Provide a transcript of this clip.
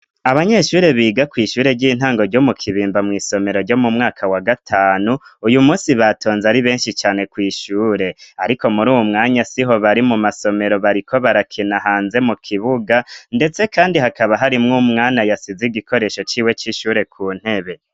abanyeshure biga ku ishure ry'intango ryo mu kibimba mw' isomero ryo mu mwaka wa gatanu uyu munsi batonze ari benshi cane ku ishure ariko muri uwu mwanya siho bari mu masomero bariko barakina hanze mu kibuga ndetse kandi hakaba harimwo umwana yasize igikoresho cyiwe c'ishure ku ntebe